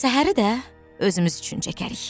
"Səhəri də özümüz üçün çəkərik."